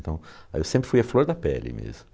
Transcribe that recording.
Então, eu sempre fui a flor da pele mesmo.